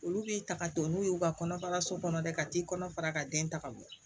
Olu b'i ta ka to n'u ye u ka kɔnɔbara so kɔnɔ dɛ ka t'i kɔnɔ fara ka den ta ka bɔ